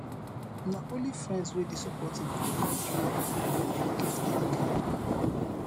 na only friends wey dey supportive go help you when you get any kain wahala